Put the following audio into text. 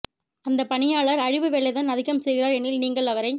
அந்தப் பணியாளர் அழிவு வேலைதான் அதிகம் செய்கிறார் எனில் நீங்கள் அவரை